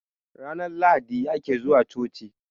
ranar lahadi ake zuwa choci